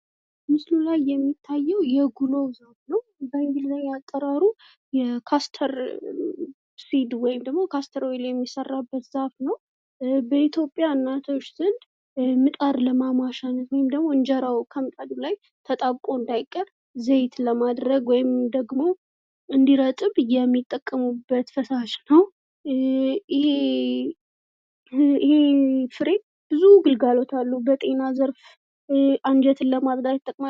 ምስሉ ላይ የሚታዩ የጉሎ ዛፍ ነው ።በእንግሊዘኛ አጠራሩ የካስተር ሲድ ወይም ደግሞ የካስተር ኦይል የሚሰራበት ዛፉ ነው ።በኢትዮጵያ እናቶች ዘንድ መጣድ ለማሟሻነት ወይም ደግሞ እንጀራው ከምጣዱ ላይ ተጣብቆ እንዳይቀር ዘይት ለማድረግ ወይም ደግሞ እንዲረጥብ የሚጠቀሙበት ፈሳሽ ነው. ይህ ፍሬ ብዙ ግልጋሎት አሉበት በጤና ዘርፍ አንጀትን ለማጥዳት ይጠቅማል ።